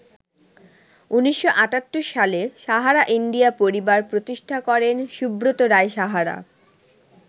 ১৯৭৮ সালে ‘সাহারা ইন্ডিয়া পরিবার’ প্রতিষ্ঠা করেন সুব্রত রায় সাহারা।